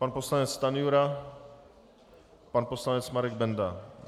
Pan poslanec Stanjura, pan poslanec Marek Benda.